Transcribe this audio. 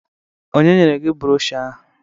Ọnye nyere gi brọshọ ahụ?